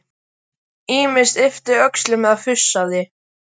Hún ýmist yppti öxlum eða fussaði.